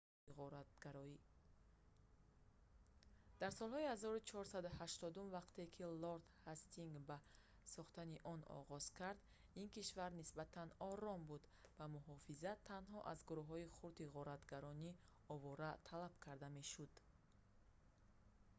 дар солҳои 1480-ум вақте ки лорд ҳастингс ба сохтани он оғоз кард ин кишвар нисбатан ором буд ва муҳофизат танҳо аз гурӯҳҳои хурди ғоратгарони овора талаб карда мешуд